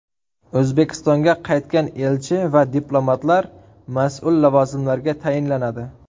O‘zbekistonga qaytgan elchi va diplomatlar mas’ul lavozimlarga tayinlanadi.